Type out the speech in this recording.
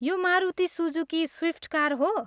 यो Maruti Suzuki Swift car हो।